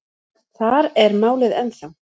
Þar er málið ennþá.